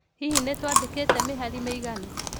Hihi nĩ tũandĩkĩte mĩhari mĩiganu?